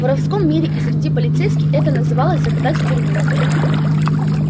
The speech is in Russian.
в воровском мире и среди полицейских это называлось закатать в тюрьму